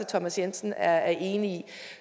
thomas jensen er enig i